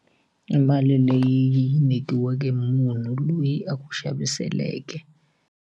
I mali leyi yi nyikiweke munhu loyi a ku xaviseleke.